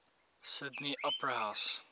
sydney opera house